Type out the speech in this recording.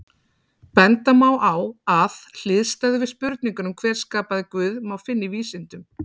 Benda má á að hliðstæðu við spurninguna um hver skapaði Guð má finna í vísindum.